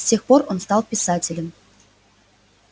с тех пор он стал писателем